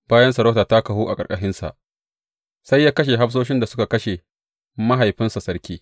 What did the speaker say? Bayan sarauta ta kahu a ƙarƙashinsa, sai ya kashe hafsoshin da suka kashe mahaifinsa sarki.